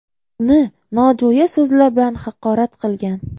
uni nojo‘ya so‘zlar bilan haqorat qilgan.